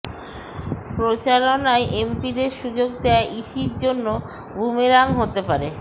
প্রচারণায় এমপিদের সুযোগ দেয়া ইসির জন্য বুমেরাং হতে পারে